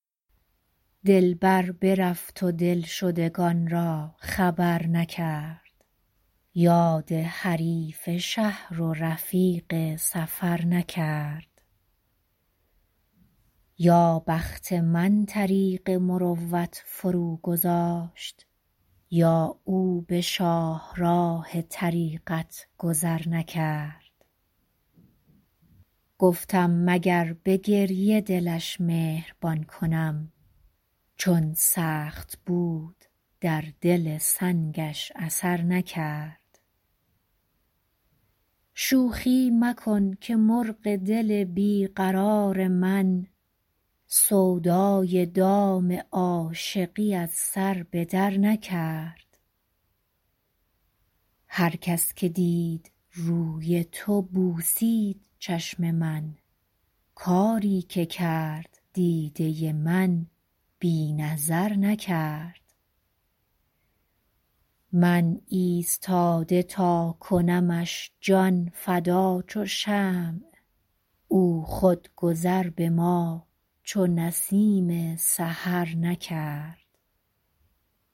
دلبر برفت و دلشدگان را خبر نکرد یاد حریف شهر و رفیق سفر نکرد یا بخت من طریق مروت فروگذاشت یا او به شاهراه طریقت گذر نکرد گفتم مگر به گریه دلش مهربان کنم چون سخت بود در دل سنگش اثر نکرد شوخی مکن که مرغ دل بی قرار من سودای دام عاشقی از سر به درنکرد هر کس که دید روی تو بوسید چشم من کاری که کرد دیده من بی نظر نکرد من ایستاده تا کنمش جان فدا چو شمع او خود گذر به ما چو نسیم سحر نکرد